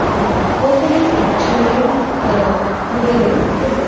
ങ് ഹോട്ടലിൽ ഭക്ഷണങ്ങളും ഏ മുറികളും ഉണ്ട്.